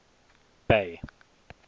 bay